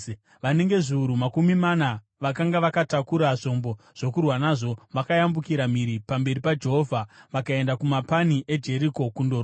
Vanenge zviuru makumi mana vakanga vakatakura zvombo zvokurwa nazvo, vakayambukira mhiri pamberi paJehovha vakaenda kumapani eJeriko kundorwa.